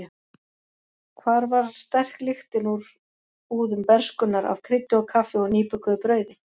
Hvar var sterk lyktin úr búðum bernskunnar af kryddi og kaffi og nýbökuðu brauði?